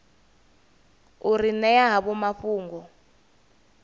u ri ṅea havho mafhungo